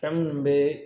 Fɛn minnu bɛ